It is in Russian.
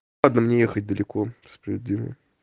ладно мне ехать далеко справедливо